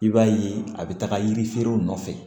I b'a ye a bɛ taga yiri feerew nɔfɛ